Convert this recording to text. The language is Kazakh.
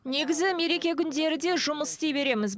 негізі мереке күндері де жұмыс істей береміз